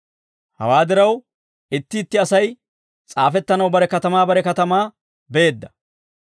Hawaa diraw itti itti Asay s'aafettanaw bare katamaa bare katamaa beedda.